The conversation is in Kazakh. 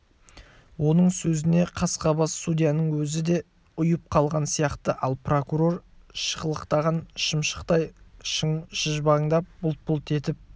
оның сөзіне қасқабас судьяның өзі де ұйып қалған сияқты ал прокурор шықылықтаған шымшықтай шыжбаңдап бұлт-бұлт етіп